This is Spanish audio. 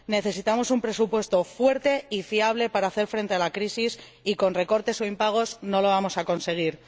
Necesitamos un presupuesto fuerte y fiable para hacer frente a la crisis y con recortes o impagos no lo vamos a conseguir.